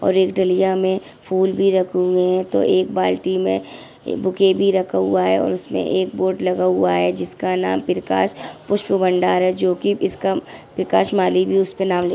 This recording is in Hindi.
एक डलियां में फूल भी रखे हुए है तो एक बाल्टी में बुके भी रखा हुआ है उसमे एक बोर्ड लगा हुआ है जिसका नाम प्रकाश पुष्प भंडार है जो की इसका प्रकाश माली भी उसका नाम लिखा --